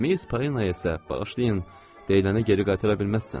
Miss Palena isə, bağışlayın, deyiləni geri qaytara bilməzsən.